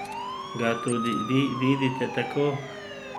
Ga tudi vi vidite tako?